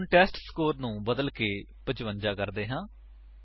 ਹੁਣ ਟੈਸਟਸਕੋਰ ਨੂੰ ਬਦਲਕੇ 55 ਕਰਦੇ ਹਾਂ